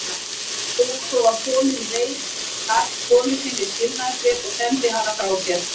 Þegar svo var komið reit karlinn konu sinni skilnaðarbréf og sendi hana frá sér.